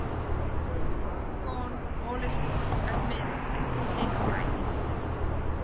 All is gone, all is gone, admit it, take flight.